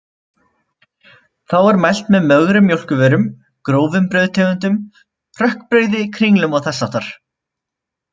Þá er mælt með mögrum mjólkurvörum, grófum brauðtegundum, hrökkbrauði, kringlum og þess háttar.